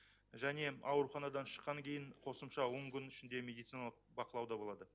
және ауруханадан шыққаннан кейін қосымша он күн ішінде медициналық бақылауда болады